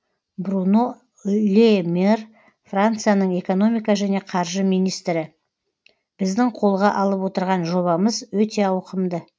бруно ле мэр францияның экономика және қаржы министрі біздің қолға алып отырған жобамыз өте ауқымды